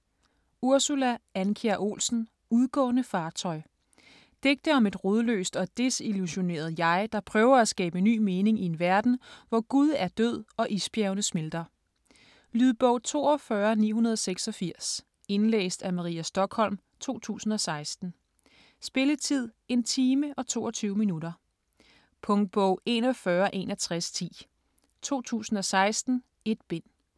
Andkjær Olsen, Ursula: Udgående fartøj Digte om et rodløst og desillusioneret jeg, der prøver at skabe ny mening i en verden, hvor Gud er død og isbjergene smelter. Lydbog 42986 Indlæst af Maria Stokholm, 2016. Spilletid: 1 time, 22 minutter. Punktbog 416110 2016. 1 bind.